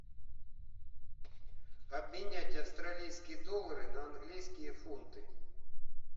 обменять австралийские доллары на английские фунты